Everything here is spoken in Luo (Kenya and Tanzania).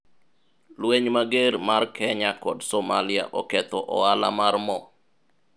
lweny mager mar kenya kod somalia oketho ohala mar mo